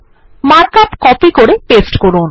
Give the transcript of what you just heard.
mark up copy করে paste করুন